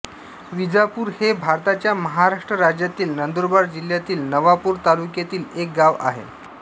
विजापूर हे भारताच्या महाराष्ट्र राज्यातील नंदुरबार जिल्ह्यातील नवापूर तालुक्यातील एक गाव आहे